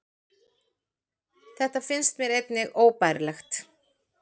Þetta finnst mér einnig óbærilegt